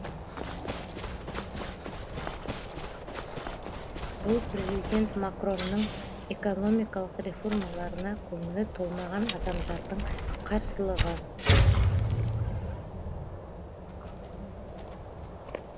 бұл президент макронның экономикалық реформаларына көңілі толмаған адамдардың қарсылығы